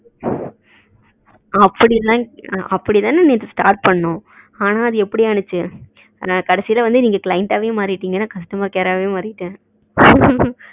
அப்டி எல்லாம் அப்டித்தான நேத்து start பண்ணோம் ஆனா அது எப்டி ஆனுச்சு கடைசில வந்து நீங்க client அஹவே மறிடிங்கனு customer care ஆவே மாறிட்டேன்